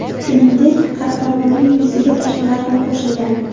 Shuningdek, qahramonning yuziga toshmalar ham qo‘shilgan.